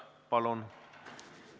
Palun!